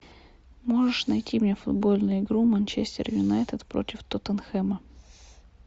можешь найти мне футбольную игру манчестер юнайтед против тоттенхэма